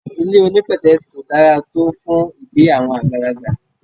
Ilé onípètẹ́sì kò dára tó fún ìgbé àwọn àgbàlagbà.